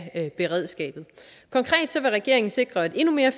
af beredskabet konkret vil regeringen sikre et endnu mere